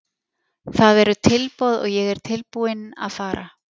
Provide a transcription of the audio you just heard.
Það eru tilboð og ég er tilbúinn að fara.